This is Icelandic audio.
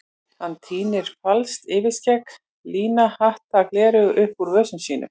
Hann tínir falskt yfirskegg, lina hatta og gleraugu upp úr vösum sínum.